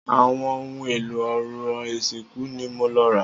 Àwọn ohun èlò orò ìsìnkú ni mo lọ rà.